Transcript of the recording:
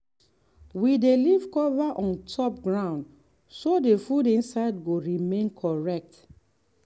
we dey leave cover on top ground so the food inside go remain correct.